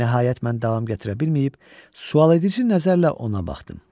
Nəhayət mən davam gətirə bilməyib, sualedici nəzərlə ona baxdım.